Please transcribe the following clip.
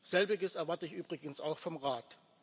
Selbiges erwarte ich übrigens auch vom Rat.